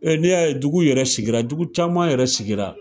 n'i y'a ye dugu yɛrɛ sigira, dugu caman yɛrɛ sigira